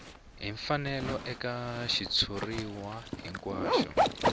hi mfanelo eka xitshuriwa hinkwaxo